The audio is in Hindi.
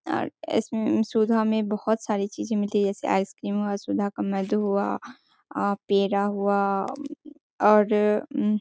और इस सुधा में बहोत सारी चीज़े मिलती हैं जैसे आइसक्रीम हुआ सुधा का मधु हुआ आ पेड़ा हुआ और उम --